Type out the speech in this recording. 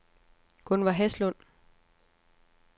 Gunver Haslund